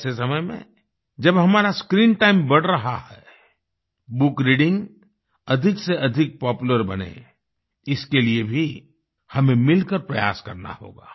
ऐसे समय में जब हमारा स्क्रीन टाइम बढ़ रहा है बुक रीडिंग अधिक से अधिक पॉपुलर बने इसके लिए भी हमें मिलकर प्रयास करना होगा